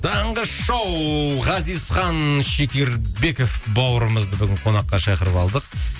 таңғы шоу ғазизхан шекербеков бауырымызды бүгін қонаққа шақырып алдық